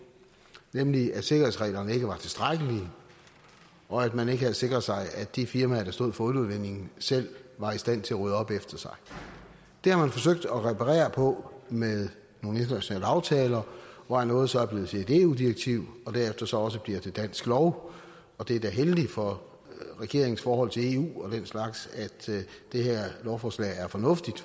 nemlig at sikkerhedsreglerne ikke var tilstrækkelige og at man ikke havde sikret sig at de firmaer der stod for olieudvindingen selv var i stand til at rydde op efter sig det har man forsøgt at reparere på med nogle internationale aftaler hvoraf noget så er blevet til et eu direktiv og derefter så også bliver til dansk lov og det er da heldigt for regeringens forhold til eu og den slags at det her lovforslag er fornuftigt